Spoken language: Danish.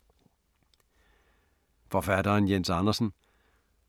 Forfatteren Jens Andersen